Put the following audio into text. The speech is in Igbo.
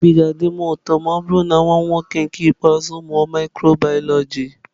Obi ga-adị m ụtọ ma ọ bụrụ na nwa m nwoke nke ikpeazụ mụọ Mikrobioloji.